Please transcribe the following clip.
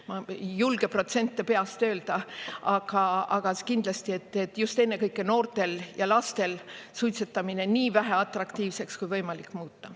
Ma ei julge protsente peast öelda, aga kindlasti, et just ennekõike noortel ja lastel suitsetamine nii väheatraktiivseks kui võimalik muuta.